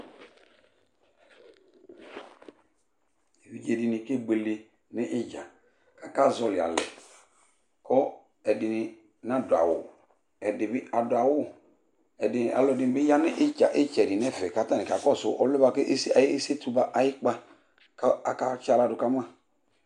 Evidjédini ké bouélé ni idjã, ka ka zõli alèkò èdini ná doawu èdibi àdoawu, alõdini yani itchèdi nèfè katáni ka kossou òlowoè baké ésétou ayikpa kò òka tchala dù kàma